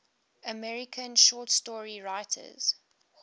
american short story writers